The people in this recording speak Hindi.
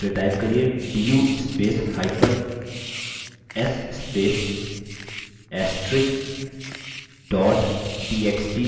फिर type करिये du spacehyphen s space * astrix dot txt